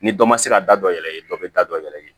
Ni dɔ ma se ka da dɔ yɛrɛ ye dɔ bɛ da dɔ yɛrɛ ye